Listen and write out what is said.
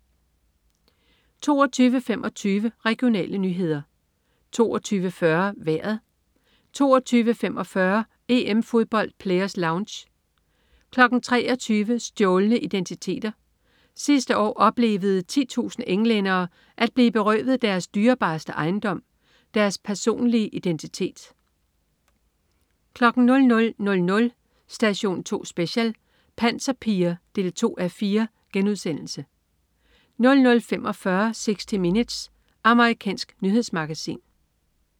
22.25 Regionale nyheder 22.40 Vejret 22.45 EM-Fodbold: Players Lounge 23.00 Stjålne identiteter. Sidste år oplevede 10.000 englændere at blive berøvet deres dyrebareste ejendom: deres personlige identitet 00.00 Station 2 Special: Panserpiger 2:4* 00.45 60 Minutes. Amerikansk nyhedsmagasin